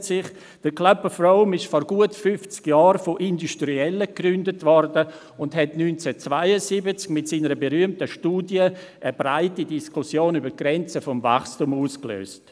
Der «Club of Rome» wurde vor gut fünfzig Jahren von Industriellen gegründet und löste 1972 mit seiner berühmten Studie eine breite Diskussion über die Grenzen des Wachstums aus.